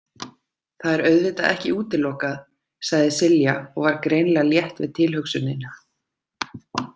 Það er auðvitað ekki útilokað, sagði Silja og var greinilega létt við tilhugsunina.